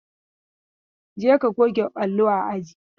Je ka goge allo a aji!